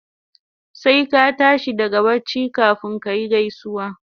Sai ka tashi daga bacci kafun kayi gaisuwa